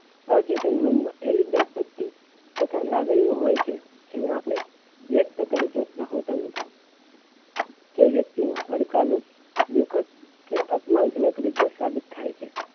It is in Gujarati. પણ ચેતન મનમાં એવી તથા લાગણીઓ હોઈ છે જેને આપણે વ્યક્ત કરી શકતા હોતા નથી તે વ્યક્તિ ને પડકાર રૂપ દુઃખદ અને અપમાન જનક રીતે સાબિત થાય છે